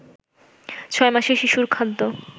ছয় মাসের শিশুর খাদ্য